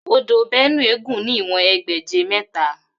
Odò Bénúè gùn ní ìwòn egbèje métà